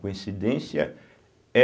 Coincidência é...